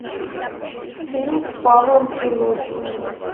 фильм с павлом прилучным